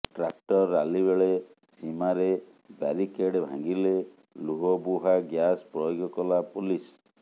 tractor rally ବେଳେ ସୀମାରେ barricade ଭାଙ୍ଗିଲେ ଲୁହ ବୁହା ଗ୍ୟାସ୍ ପ୍ରୟୋଗ କଲା ପୋଲିସ